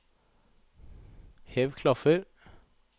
hev klaffer